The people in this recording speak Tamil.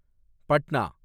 பட்னா